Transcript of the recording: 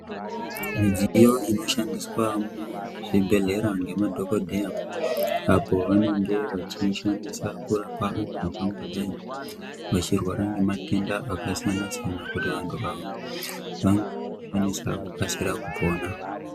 Midziyo inoshandiswa muzvibhedhleya nemadhokodheya apo vanenge vachishandisa kurapa antu angangodai achirwara ngematenda akasiyana siyana kuita kuti vantu vanokwanisa kukasira kupona.